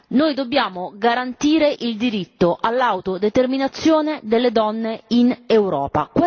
Noi dobbiamo garantire il diritto all'autodeterminazione delle donne in Europa.